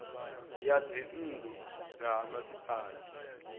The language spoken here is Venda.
ya dzinnu dza ha masipala